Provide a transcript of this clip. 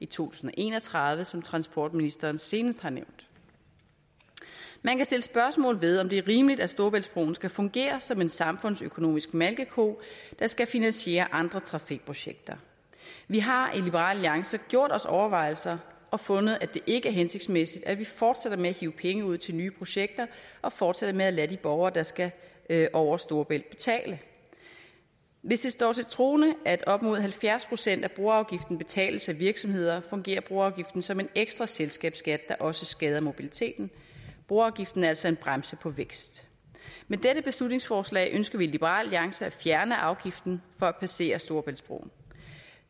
tusind og en og tredive som transportministeren senest har nævnt man kan sætte spørgsmålstegn det er rimeligt at storebæltsbroen skal fungere som en samfundsøkonomisk malkeko der skal finansiere andre trafikprojekter vi har i liberal alliance gjort os overvejelser og fundet at det ikke er hensigtsmæssigt at vi fortsætter med at hive penge ud til nye projekter og fortsætter med at lade de borgere der skal over storebælt betale hvis det står til troende at op mod halvfjerds procent af broafgiften betales af virksomheder fungerer broafgiften som en ekstra selskabsskat der også skader mobiliteten broafgiften er altså en bremse på vækst med dette beslutningsforslag ønsker vi i liberal alliance at fjerne afgiften for at passere storebæltsbroen